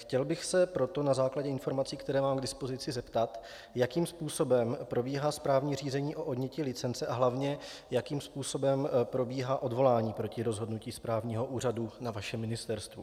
Chtěl bych se proto na základě informací, které mám k dispozici, zeptat, jakým způsobem probíhá správní řízení o odnětí licence a hlavně jakým způsobem probíhá odvolání proti rozhodnutí správního úřadu na vašem ministerstvu.